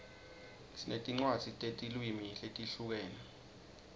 sinetincwadzi tetilwimi letihlukene